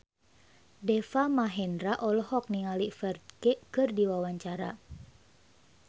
Deva Mahendra olohok ningali Ferdge keur diwawancara